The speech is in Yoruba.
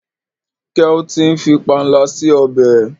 ke o tí ń fí panla sí ọbẹ?